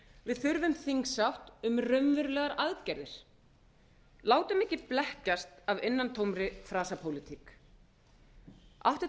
við þurfum þingsátt um raunverulegar aðgerðir látum ekki blekkjast af innantómri þraspólitík átti